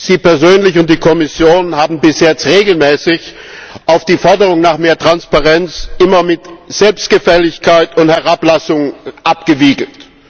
Sie persönlich und die Kommission haben bis jetzt regelmäßig auf die Forderung nach mehr Transparenz immer mit Selbstgefälligkeit und Herablassung abgewiegelt.